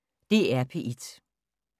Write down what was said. DR P1